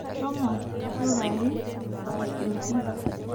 Shomo rurai asioki.